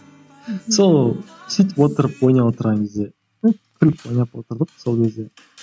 сол сөйтіп отырып ойнап отырған кезде күліп ойнап отырдық сол кезде